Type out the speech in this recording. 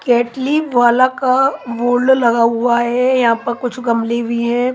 केटली वाला का वॉल्डो लगा हुआ है यहाँ पर कुछ गमले भी है।